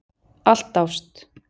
Allt ást.